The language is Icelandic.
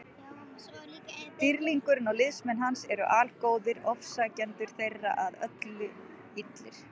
Dýrlingurinn og liðsmenn hans eru algóðir, ofsækjendur þeirra að öllu illir.